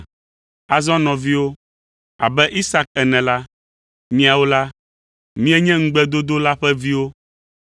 Azɔ nɔviwo, abe Isak ene la, miawo la, mienye ŋugbedodo la ƒe viwo.